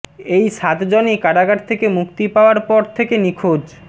এই সাতজনই কারাগার থেকে মুক্তি পাওয়ার পর থেকে নিখোঁজ